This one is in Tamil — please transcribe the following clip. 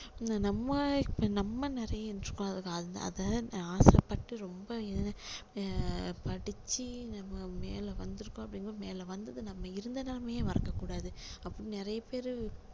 நம்ம இப்போ நம்ம நிறைய இருக்கோம் அதுக்கு அதை ஆசை பட்டு ரொம்ப ஆஹ் படிச்சி நம்ம மேல வந்திருக்கோம் அப்படிங்கும்போது மேல வந்து நம்ம இருந்த நிலைமைய மறக்க கூடாது அப்படி நிறைய பேரு